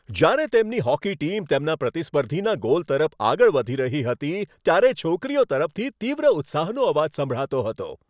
જ્યારે તેમની hockey team તેમના પ્રતિસ્પર્ધીના ગોલ તરફ આગળ વધી રહી હતી, ત્યારે છોકરીઓ તરફથી તીવ્ર ઉત્સાહનો અવાજ સંભળાતો હતો.